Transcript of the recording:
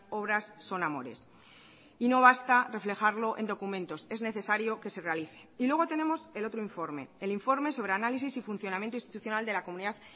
obras son amores y no basta reflejarlo en documentos es necesario que se realice y luego tenemos el otro informe el informe sobre análisis y funcionamiento institucional de la comunidad